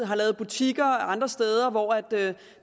har lavet butikker og andre steder hvor